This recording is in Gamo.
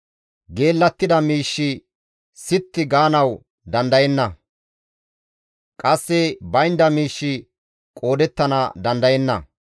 Geellattida miishshi sitti gaanawu dandayenna; qasse baynda miishshi qoodettana dandayenna.